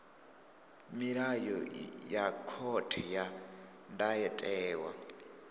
milayo ya khothe ya ndayotewa